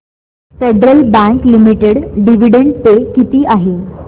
federal Bank Limited dividend pay किती आहे